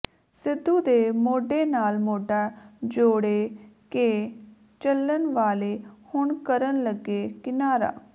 ਸਿੱਧੂ ਦੇ ਮੋਢੇ ਨਾਲ ਮੋਢਾ ਜੋੜੇ ਕੇ ਚੱਲਣ ਵਾਲੇ ਹੁਣ ਕਰਨ ਲੱਗੇ ਕਿਨਾਰਾ